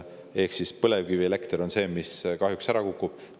Ehk põlevkivielekter on see, mis kahjuks ära kukub.